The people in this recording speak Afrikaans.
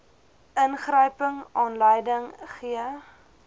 ingryping aanleiding gee